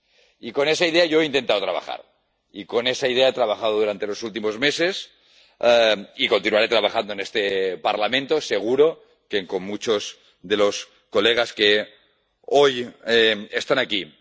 Y con esa idea yo he intentado trabajar, y con esa idea he trabajado durante los últimos meses y continuaré trabajando en este Parlamento, seguro que con muchos de los colegas que hoy están aquí.